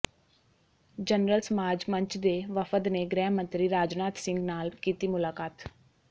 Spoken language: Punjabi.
ਜਨਰਲ ਸਮਾਜ ਮੰਚ ਦੇ ਵਫ਼ਦ ਨੇ ਗ੍ਰਹਿ ਮੰਤਰੀ ਰਾਜਨਾਥ ਸਿੰਘ ਨਾਲ ਕੀਤੀ ਮੁਲਾਕਾਤ